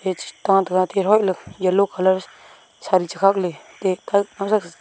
ka tega tihoih ley yellow colour chari chakhak ley